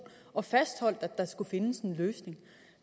og fastholdt at der skulle findes en løsning